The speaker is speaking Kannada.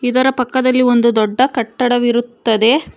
ಅದರ ಪಕ್ಕದಲ್ಲಿ ಒಂದು ದೊಡ್ಡ ಕಟ್ಟಡವಿರುತ್ತದೆ.